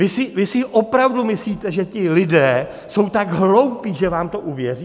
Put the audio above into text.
Vy si opravdu myslíte, že ti lidé jsou tak hloupí, že vám to uvěří?